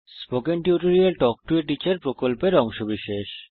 spoken tutorial প্রকল্প talk to a teacher প্রকল্পের অংশবিশেষ